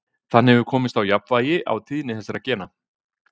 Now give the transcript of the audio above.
þannig hefur komist á jafnvægi á tíðni þessara gena